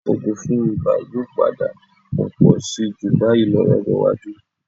Òògùn fún ibà yóò padà pọ̀ pọ̀ síi jù báyìí lọ lọ́jọ́ iwájú